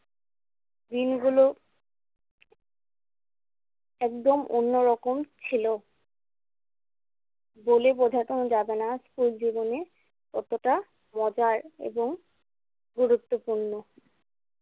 দিনগুলো একদম অন্যরকম ছিলো। বলে বোঝানো যাবে না স্কুল জীবনে কতটা মজার এবং গুরুত্বপূর্ণ।